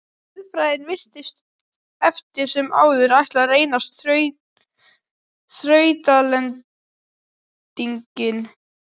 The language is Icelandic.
Guðfræðin virtist eftir sem áður ætla að reynast þrautalendingin.